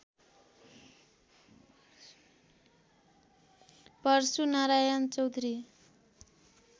Parshunarayan Chaudhary